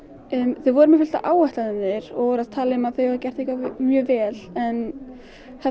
þau voru með fullt af áætlunum og voru að tala um að þau hefðu gert eitthvað mjög vel en